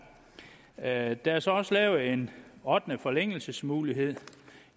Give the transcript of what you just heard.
er der er så også lavet en ottende forlængelsesmulighed